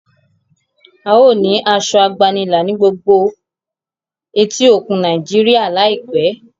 ào ní Aṣọ àgbànilà ní gbógbó etí òkun Nàìjíríà láìpé